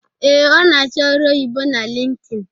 Ee, ọ na-achọ ọrụ oyibo na Lintin